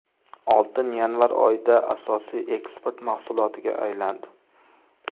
Oltin yanvar oyida asosiy eksport mahsulotiga aylandi.